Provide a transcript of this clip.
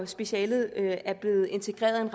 specialet er blevet integreret ind